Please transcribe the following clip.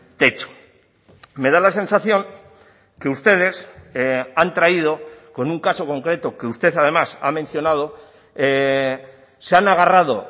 techo me da la sensación que ustedes han traído con un caso concreto que usted además ha mencionado se han agarrado